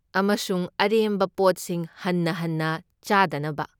ꯑꯃꯁꯨꯡ ꯑꯔꯦꯝꯕ ꯄꯣꯠꯁꯤꯡ ꯍꯟꯅ ꯍꯟꯅ ꯆꯥꯗꯅꯕ꯫